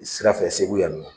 I sira fɛ Segu yan nɔ